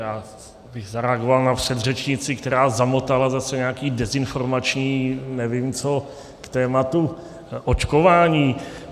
Já bych zareagoval na předřečnici, která zamotala zase nějaké dezinformační nevím co k tématu očkování.